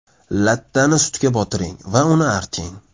Lattani sutga botiring va uni arting.